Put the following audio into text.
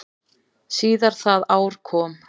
Síðar það ár kom